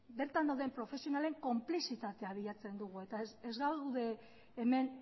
bertan dauden profesionalen konplizitatea bilatzen dugu eta ez gaude hemen